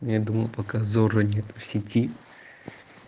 я думал пока зорро нет в сети